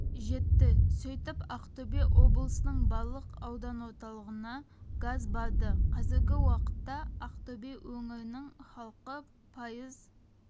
жетті сөйтіп ақтөбе облысының барлық аудан орталығына газ барды қазіргі уақытта ақтөбе өңірінің халқы пайыз